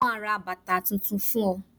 mo ma ra bàtà Titun fún o